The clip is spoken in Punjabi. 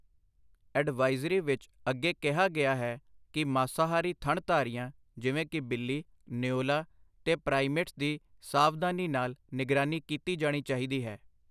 ਅਡਵਾਈਜ਼ਰੀ ਵਿਚ ਅੱਗੇ ਕਿਹਾ ਗਿਆ ਹੈ ਕਿ ਮਾਸਾਹਾਰੀ ਥਣਧਾਰੀਆਂ, ਜਿਵੇਂ ਕਿ ਬਿੱਲੀ, ਨਿਓਲ਼ਾ ਤੇ ਪ੍ਰਾਈਮੇਟਸ ਦੀ ਸਾਵਧਾਨੀ ਨਾਲ ਨਿਗਰਾਨੀ ਕੀਤੀ ਜਾਣੀ ਚਾਹੀਦੀ ਹੈ।